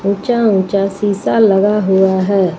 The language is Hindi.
ऊंचा-ऊंचा शीशा लगा हुआ है।